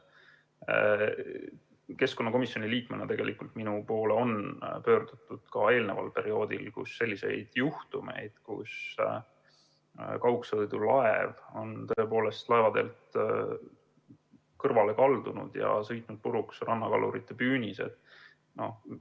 Minu kui keskkonnakomisjoni liikme poole on pöördutud ka varem, kui on olnud juhtumeid, kus kaugsõidulaev on laevateelt kõrvale kaldunud ja sõitnud puruks rannakalurite püünised.